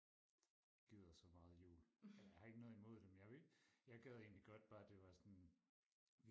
gider så meget jul ej jeg har ikke noget imod det men jeg vil jeg gad egentlig godt bare det var sådan